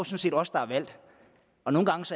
set os der